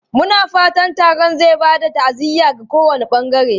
Muna fatan taron zai ba da ta'aziyya ga kowane bangare.